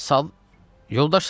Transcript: Sağ yoldaş Sadıq.